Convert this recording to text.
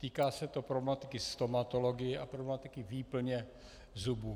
Týká se to problematiky stomatologie a problematiky výplně zubů.